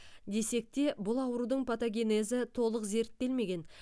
десекте бұл аурудың патогенезі толық зерттелмеген